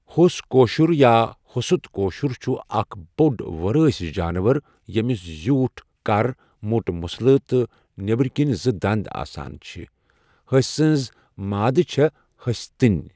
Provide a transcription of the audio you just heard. ہوٚس کٲشُر یا ہۆست کٲشُر چھُ اَکھ بۆڈ وُرٲسؠ جانور ییٚمِس زیٛوٗٹھ کَر مۆٹ مٕسلہٕ تہٕ نؠبَر کُن زٕ دَنٛد آسان چھِ ہسٔۍ سٕنٛز مادٕ چھےٚ ہسٔۍتِنۍ